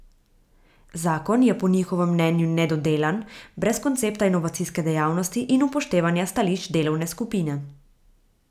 Zakon je po njihovem mnenju nedodelan, brez koncepta inovacijske dejavnosti in upoštevanja stališč delovne skupine.